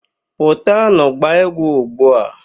Pụtanụ gbaa egwu ugbu a!